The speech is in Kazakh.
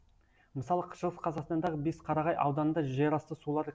мысалы шығыс қазақстандағы бесқарағай ауданында жерасты сулары